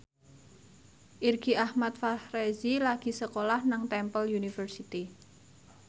Irgi Ahmad Fahrezi lagi sekolah nang Temple University